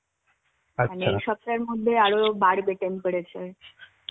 এই সপ্তাহের মধ্যে আরো বাড়বে temperature.